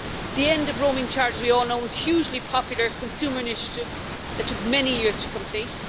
The end of the roaming charge, as we all know, was a hugely popular consumer initiative that took many years to complete.